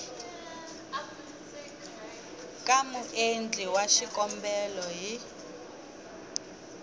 ka muendli wa xikombelo hi